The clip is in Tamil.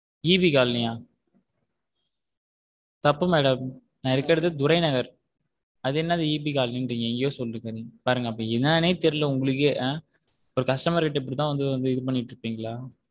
Eb காலனியா தப்பு madam நா இருக்கது துறை நகர் அது என்னாது EB காலனின்றீங்க எங்கையோ சொல்லிட்டு பாருங்க அப்போ என்னானே தெரியல உங்கள்ளுக்கே ஒரு customer ட இப்படிதான் வந்து வந்து இது பண்ணிட்டு இருப்பீங்களா?